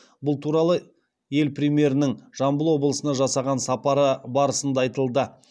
бұл туралы ел премьерінің жамбыл облысына жасаған сапары барысында айтылды